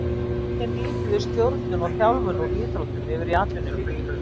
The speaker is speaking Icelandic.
Hvernig nýtum við stjórnun og þjálfun úr íþróttum yfir í atvinnulífið.